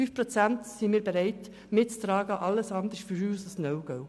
Wir sind bereit, 5 Prozent mitzutragen, alles andere ist für uns unannehmbar.